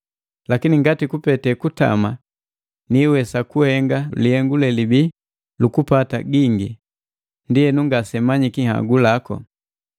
Lakini ngati kupete kutama niwesa kuhenga lihengu lelibii lukupata gingi, ndienu ngasemanyiki nhagu lako!